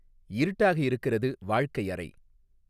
இருட்டாக இருக்கிறது வாழ்க்கை அறை